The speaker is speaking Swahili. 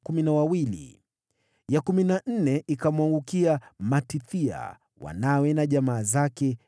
ya kumi na nne ikamwangukia Matithia, wanawe na jamaa zake, 12